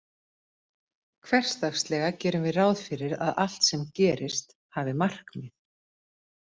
Hversdagslega gerum við ráð fyrir að allt sem gerist hafi markmið.